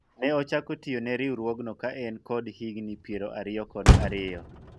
ne ochako tiyo ne riwruogno ka en kod higni piero ariyo kod ariyo